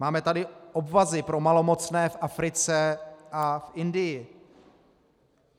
Máme tady obvazy pro malomocné v Africe a v Indii.